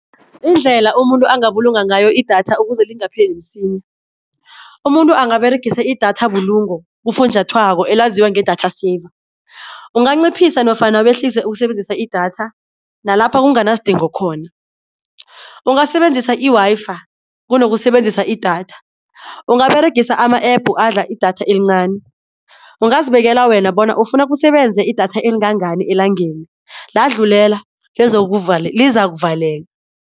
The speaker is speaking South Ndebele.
Indlela umuntu angabulunga ngayo i-data ukuze lingapheli msinya. Umuntu angaberegise i-data bulungo kufunjathwako elaziwa nge-data saver, unganciphisa nofana wehlise ukusebenzisa i-data nalapha kunganasidingo khona. Ungasebenzisa i-Wi-Fi kunokusebenzisa i-data ungaberegisa ama-App adla i-data elincani, ungazibekela wena bona ufuna kusebenze i-data elingangani elangeni ladlulela lizakuvaleka.